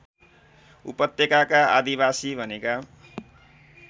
उपत्यकाका आदिवासी भनेका